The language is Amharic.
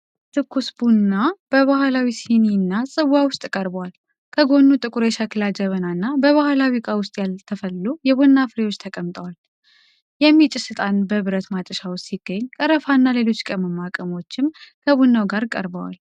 ትኩስ ቡና በባህላዊ ሲኒና ጽዋ ውስጥ ቀርቧል፡፡ ከጎኑ ጥቁር የሸክላ ጀበና እና በባህላዊ ዕቃ ውስጥ ያልተፈሉ የቡና ፍሬዎች ተቀምጠዋል፡፡ የሚጨስ ዕጣን በብረት ማጨሻ ውስጥ ሲገኝ፣ ቀረፋና ሌሎች ቅመማ ቅመሞችም ከቡናው ጋር ቀርበዋል፡፡